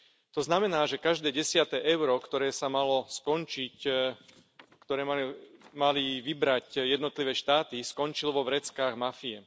To znamená, že každé desiate euro, ktoré sa malo skončiť, ktoré mali vybrať jednotlivé štáty, skončilo vo vreckách mafie.